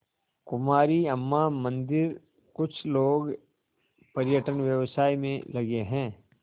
कुमारी अम्मा मंदिरकुछ लोग पर्यटन व्यवसाय में लगे हैं